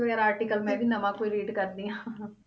ਵਗ਼ੈਰਾ article ਮੈਂ ਵੀ ਨਵਾਂ ਕੋਈ read ਕਰਦੀ ਹਾਂ